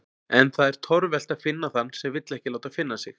En það er torvelt að finna þann sem vill ekki láta finna sig.